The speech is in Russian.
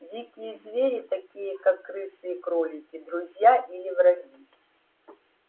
дикие звери такие как крысы и кролики друзья или враги